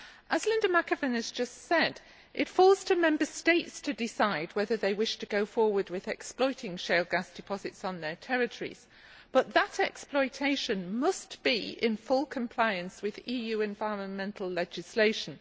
As Linda McAvan has just said, it falls to Member States to decide whether they wish to go forward with exploiting shale gas deposits on their territories, but that exploitation must be in full compliance with EU environmental legislation.